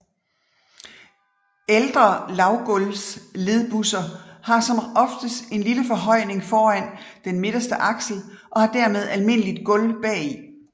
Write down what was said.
Ældre lavgulvsledbusser har som oftest en lille forhøjning foran den midterste aksel og har dermed almindeligt gulv bagi